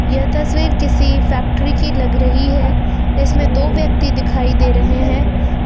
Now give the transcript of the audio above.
यह तस्वीर किसी फैक्ट्री की लग रही है इसमें दो व्यक्ति दिखाई दे रहे हैं।